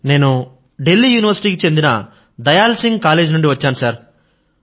నేను ఢిల్లీ యూనివర్సిటీ కి చెందిన దయాల్ సింగ్ కాలేజీ నుండి వచ్చాను సర్